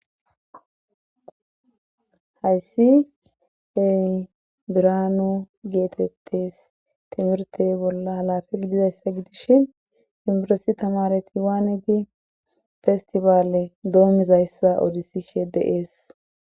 Hayssi ey birano geetettes timirte bolla halafi dizayssa gidishin imbiresi tamareti waane di festibaale doomizayssa oodisi shedeees